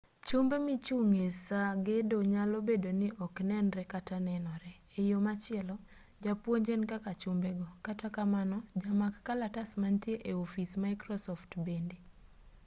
chumbe michung'e saa gedo nyalo bedo ni oknenree kata nenore eyo machielo japuonj en kaka chumbego kata kamano jamak kalatas mantie e-ofis microsoft bende